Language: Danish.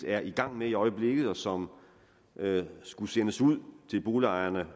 er i gang med i øjeblikket og som skulle sendes ud til boligejerne